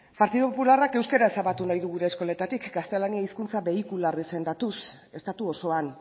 partidu popularrak euskara ezabatu nahi du gure eskoletatik gaztelania hizkuntza beikularra izendatuz estatu osoan